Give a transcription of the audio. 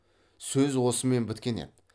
сөз осымен біткен еді